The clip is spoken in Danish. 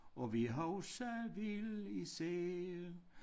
Og vi huske vil især